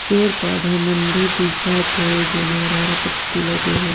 पेड़ पौधा मन भी दिख थे जे मा हरा हरा पत्ति लगे हे।